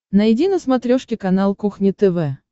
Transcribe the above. найди на смотрешке канал кухня тв